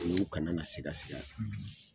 O ye u kana na siga siga.